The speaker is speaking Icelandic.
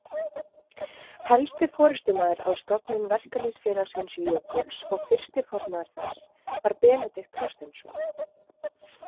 Helsti forystumaður að stofnun Verkalýðsfélagsins Jökuls og fyrsti formaður þess var Benedikt Þorsteinsson.